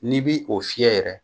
N'i bi o fiyɛ yɛrɛ